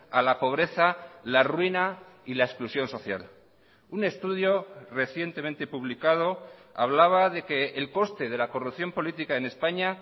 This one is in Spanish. a la pobreza la ruina y la exclusión social un estudio recientemente publicado hablaba de que el coste de la corrupción política en españa